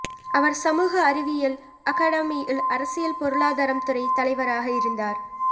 அவர் சமூக அறிவியல் அகாடமியில் அரசியல் பொருளாதாரம் துறை தலைவராக இருந்தார்